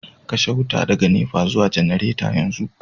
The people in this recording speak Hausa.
canza wuta daga NEPA zuwa janareta yanzu